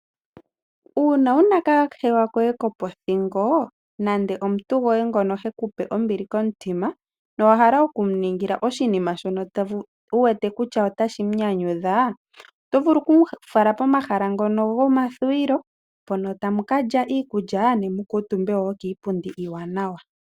Uuna wuna kahewa koye kopothingo nande omuntu goye ngono hekupe ombili komutima. Nowa hala okumuningila oshinima shono wu wete kutya otashi mu nyanyudha. Oto vulu oku mu fala pomahala ngono gomathuwilo . Mpono tamu ka lya iikulya ne mu kuutumbe woo kiipundi iiwanawa.